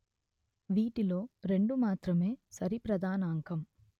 వీటి లో రెండు మాత్రమే సరి ప్రధానాంకం